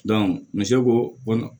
muso ko